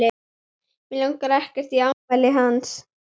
Mig langar ekkert í afmælið hans.